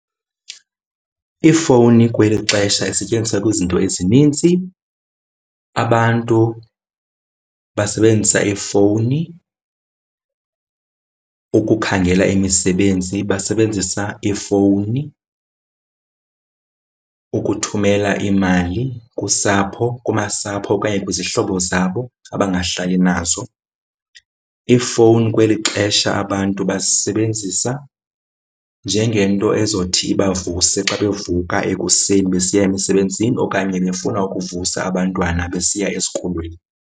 Iifowuni kweli xesha isetyenziswa kwizinto ezinintsi. Abantu basebenzisa iifowuni ukukhangela imisebenzi, basebenzisa iifowuni ukuthumela iimali kusapho, kumasapho okanye kwizihlobo zabo abangahlali nazo. Iifowuni kweli xesha abantu bazisebenzisa njengento ezothi ibavuse xa bevuka ekuseni besiya emisebenzini okanye befuna ukuvusa abantwana besiya esikolweni.